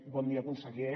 bon dia conseller